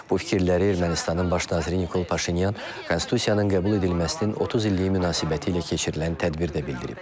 Bu fikirləri Ermənistanın baş naziri Nikol Paşinyan konstitusiyanın qəbul edilməsinin 30 illiyi münasibətilə keçirilən tədbirdə bildirib.